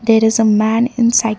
there is a man inside--